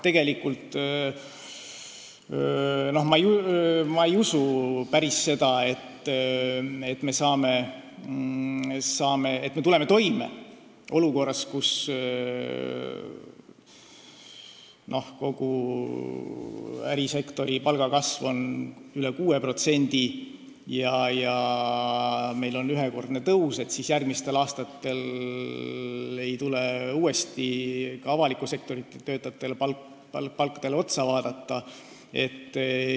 Tegelikult ma päris hästi ei usu seda, et olukorras, kus ärisektori palgakasv on üle 6% ja meil on ühekordne tõus, ei tule järgmistel aastatel uuesti ka avaliku sektori töötajate palku üle vaadata.